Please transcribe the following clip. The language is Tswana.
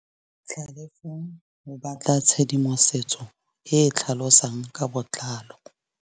Tlhalefô o batla tshedimosetsô e e tlhalosang ka botlalô.